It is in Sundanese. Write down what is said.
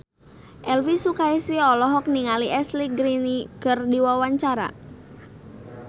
Elvi Sukaesih olohok ningali Ashley Greene keur diwawancara